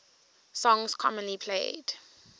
songs commonly played